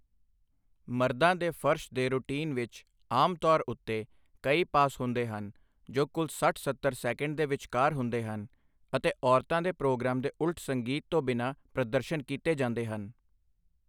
ਮਰਦਾਂ ਦੇ ਫਰਸ਼ ਦੇ ਰੁਟੀਨ ਵਿੱਚ ਆਮ ਤੌਰ ਉੱਤੇ ਕਈ ਪਾਸ ਹੁੰਦੇ ਹਨ ਜੋ ਕੁੱਲ ਸੱਠ ਸੱਤਰ ਸੈਕਿੰਡ ਦੇ ਵਿਚਕਾਰ ਹੁੰਦੇ ਹਨ ਅਤੇ ਔਰਤਾਂ ਦੇ ਪ੍ਰੋਗਰਾਮ ਦੇ ਉਲਟ ਸੰਗੀਤ ਤੋਂ ਬਿਨਾਂ ਪ੍ਰਦਰਸ਼ਨ ਕੀਤੇ ਜਾਂਦੇ ਹਨ।